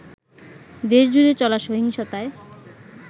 দেশজুড়ে চলা সহিংসতায়